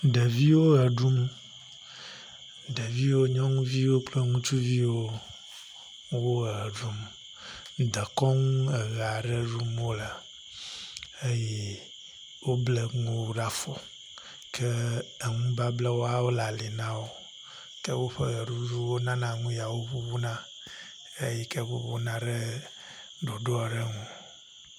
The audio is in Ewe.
Ɖeviwo ʋe ɖum, ɖeviwo nyɔŋuviwo kple ŋutsuviwo wo ʋe ɖum, dekɔŋu eʋea ɖe ɖum wole eye wobla ŋuwo ɖe afɔ. Ke eŋubabla woawo le ali na wo, ke woƒe ʋeɖuɖuwo nana ŋu yawo ŋuŋuna, eyi ke ŋuŋuna ɖe ɖoɖoa ɖe ŋu.